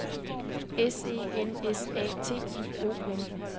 S E N S A T I O N